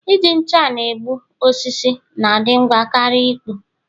Iji ncha na-egbu osisi na-adị ngwa karịa ịkpụ